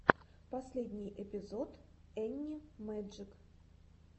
последний эпизод энни мэджик